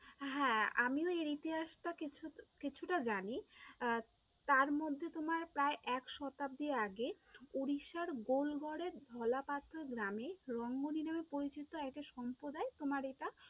হ্যাঁ, আমিও এর ইতিহাসটা কিছুটা জানি আহ তার মধ্যে তোমার প্রায় এক শতাব্দী আগে উড়িষ্যার বোলগড়ের ঢলা পাথর গ্রামে রঙ্গনী নামে পরিচিত একটা সম্প্রদায় তোমার এটা